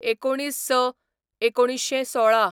२९/०६/१९१६